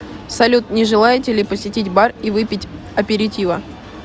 салют не желаете ли посетить бар и выпить аперитива